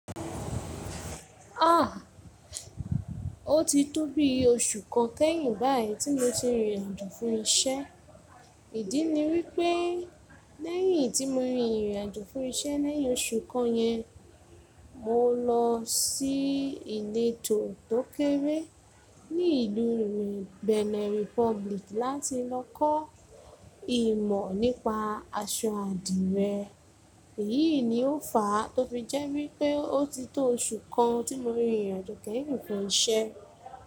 Ah! O ti tóbi oṣù kan kẹ́yìn báyìí tí mo ti rin ìrìn àjò fún iṣẹ́. Ìdí ni wípé lẹ́yìn tí mo rin ìrìn àjò fún iṣẹ́ lẹ́yìn oṣù kan yẹn, mo lọ sí ìletò tókéré ní ìlú Benin Republic láti lọ kọ́ ìmọ̀ nípa aṣọ àdìrẹ. Èyí ni ó fà á tó fi jẹ́ wípé o ti tó oṣù kan tí mo rin ìrìn àjò kẹ́yìn fún iṣẹ́.